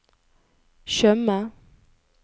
Tjøme